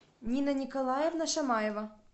нина николаевна шамаева